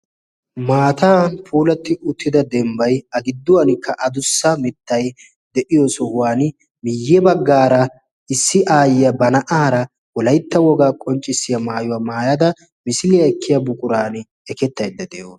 Maatan puulatti uttida dembbay gidduwankka adussa mittay de'iyo sohuwan miyye baggaara issi aayyiyaa ba na'aara wolaytta wogaa qonccissiya maayuwaa maayada misiliyaa ekkiya buquran ekettaydda de'o